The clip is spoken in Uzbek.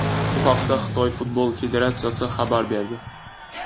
Bu haqda Xitoy futbol federatsiyasi xabar berdi .